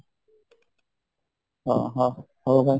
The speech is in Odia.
ଅହଃ ହଁ ହଉ ଭାଇ